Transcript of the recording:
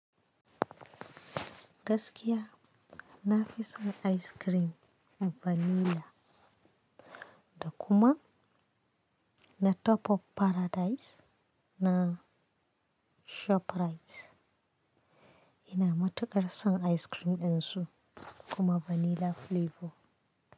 Gaskiya na fi son ice cream vanilla. Da kuma na Top of Paradise na ShopRite. Ina matuƙar son ice cream ɗin su kuma vanilla flavor.